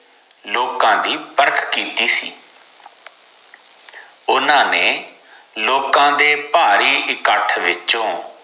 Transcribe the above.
ਲੋਕਾਂ ਦੀ ਪਰਖ ਕੀਤੀ ਸੀ ਓਨਾ ਨੇ ਲੋਕਾਂ ਦੇ ਭਾਰੀ ਇਕੱਠ ਵਿੱਚੋ